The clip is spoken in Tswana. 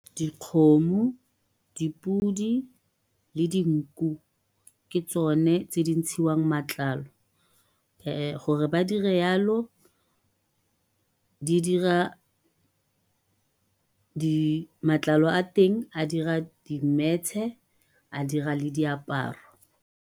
Dikgomo, dipodi, le dinku ke tsone tse di ntshiwang matlalo gore ba di re yalo di dira matlalo a teng a dira dimetshe a dira le diaparo.